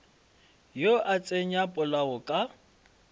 yo a tsenya polao ka